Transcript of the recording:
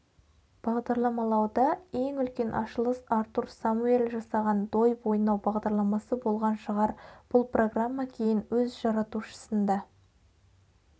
бағдарламалауда ең үлкен ашылыс артур самуэль жасаған дойбы ойнау бағдарламасы болған шығар бұл программа кейін өз жаратушысын да